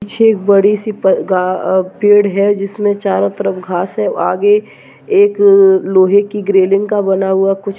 पीछे एक बड़ी सी प-गा-गा पेड़ है जिसमे चारों तरफ घास है आगे एक लोहे की का बना हुआ कुछ --